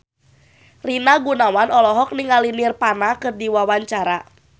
Rina Gunawan olohok ningali Nirvana keur diwawancara